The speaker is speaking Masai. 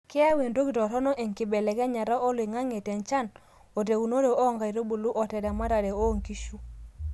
keyau entoki toronok enkibeleknyata oloingange te nchan,o teunore ooo nkaitubulu, oteramatare oo nkishu